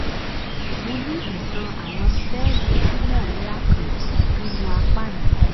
mo ní ìtàn àwọn sẹ́ẹ̀lì tumoor ńlá kan nínú apá mi